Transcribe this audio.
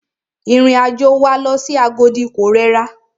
Ìrìn àjò wa lọ sí Agodi ko rẹra.